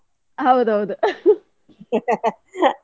ಹೌದೌದು.